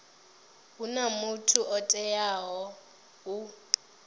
huna muthu o teaho u